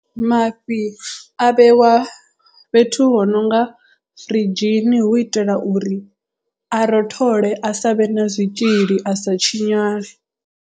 Mafhi a vhewa fhethu hu nonga firidzhini hu itela uri a rothole a savhe na zwitzhili a sa tshinyale.